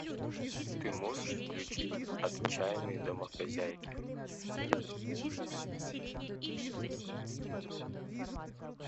ты можешь включить отчаянные домохозяйки